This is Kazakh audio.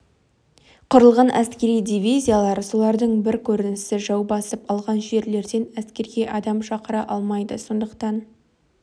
құрылған әскери дивизиялар солардың бір көрінісі жау басып алған жерлерден әскерге адам шақыра алмайды сондықтан